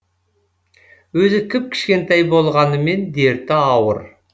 өзі кіп кішкентай болғанымен дерті ауыр